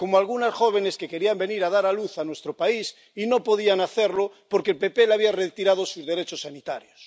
como algunas jóvenes que querían venir a dar a luz a nuestro país y no podían hacerlo porque el PP les había retirado sus derechos sanitarios.